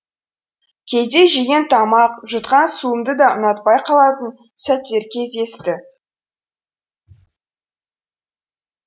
кейде жеген тамақ жұтқан суымды да ұнатпай қалатын сәттер кездесті